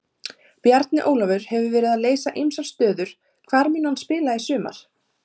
Bjarni Ólafur hefur verið að leysa ýmsar stöður hvar mun hann spila í sumar?